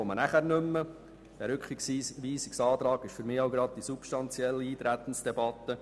Vorab zum Grundsätzlichen aus Sicht der SAK: Der Rückweisungsantrag ist für mich gleichzeitig die substanzielle Eintretensdebatte.